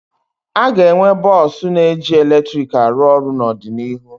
Aga enwe bọsụ na eji eletrik arụ ọrụ n'ọdịnihu